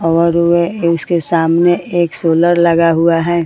और वे उसके सामने एक सोलर लगा हुआ है।